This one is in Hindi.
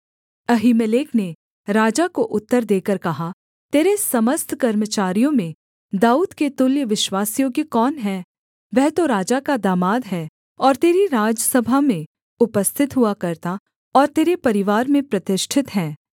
अहीमेलेक ने राजा को उत्तर देकर कहा तेरे समस्त कर्मचारियों में दाऊद के तुल्य विश्वासयोग्य कौन है वह तो राजा का दामाद है और तेरी राजसभा में उपस्थित हुआ करता और तेरे परिवार में प्रतिष्ठित है